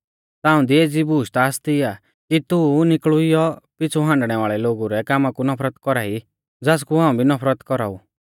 पर हां ताऊं दी एज़ी बूश ता आसती आ कि तू नीकुलइऊ पिछ़ु हांडणै वाल़ै लोगु रै कामा कु नफरत कौरा ई ज़ासकु हाऊं भी नफरत कौराऊ